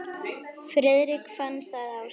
Friðrik fann það á sér.